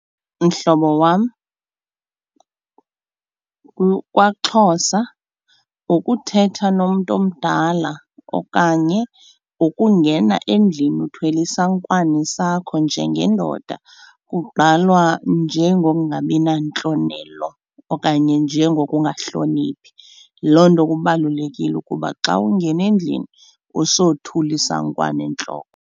Mhlobo wam, kwaXhosa ngokuthetha nomntu omdala okanye ngokungena endlini uthwele isankwane sakho njengendoda kugqalwa njengokungabi nantlonelo okanye njengokungahlonipho. Yiloo nto kubalulekile ukuba xa ungena endlini usothule isankwane entloko.